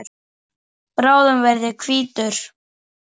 Bráðum verð ég hvítur.